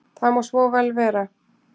Það má vel vera.